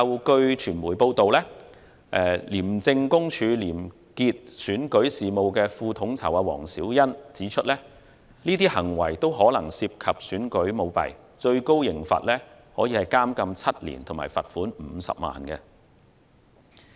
據傳媒報道，廉政公署廉潔選舉事務副統籌黃小欣指出，相關行為可能涉及選舉舞弊，最高刑罰是監禁7年及罰款50萬元。